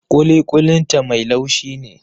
Kuli-kulin ta mai laushin ne.